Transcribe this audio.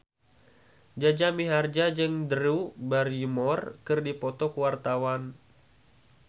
Jaja Mihardja jeung Drew Barrymore keur dipoto ku wartawan